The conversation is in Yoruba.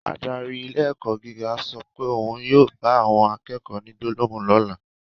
Adarí ilé ẹ̀kọ́ gíga sọ pé òun yóò bá àwọn akẹ́kọ̀ọ́ ní gbólóhùn lọ́la